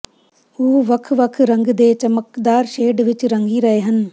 ਉਹ ਵੱਖ ਵੱਖ ਰੰਗ ਦੇ ਚਮਕਦਾਰ ਸ਼ੇਡ ਵਿੱਚ ਰੰਗੀ ਰਹੇ ਹਨ